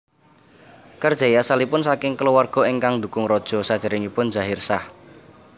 Karzai asalipun saking kulawarga ingkang ndhukung raja sadèrèngipun Zahir Shah